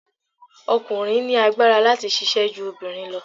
Ọkùnrin ní agbára láti ṣisẹ́ ju obìnrin lọ.